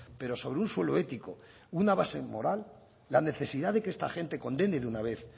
pero sobre un suelo ético y una base moral la necesidad de que esta gente condene de una vez